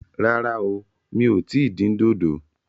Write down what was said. Rárá o, mi ò tí ì dín dòdò